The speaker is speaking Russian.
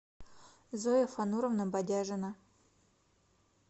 зоя фануровна бадяжина